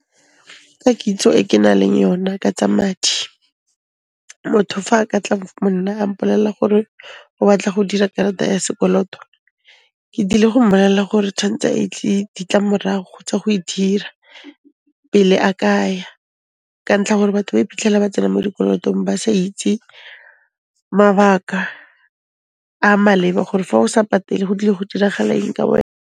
Ka kitso e ke na leng yona ka tsa madi, motho fa a ka tla mo nna a mpolella gore o batla go dira karata ya sekoloto, ke tlile go mmolella gore tshwantse a itse ditlamorago tsa go e dira pele a ka ya, ka ntlha ya gore batho ba iphitlhela ba tsena mo dikolotong ba sa itse mabaka a maleba gore fa o sa patele go tlile go diragala eng ka wena.